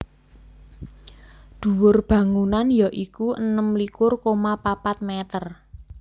Dhuwur bangunan ya iku enem likur koma papat mèter